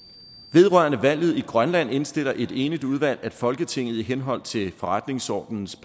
vedrørende valget i grønland indstiller et enigt udvalg at folketinget i henhold til forretningsordenens